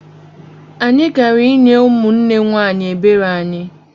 Anyị gara inye ụmụnne nwanyị ebere anyị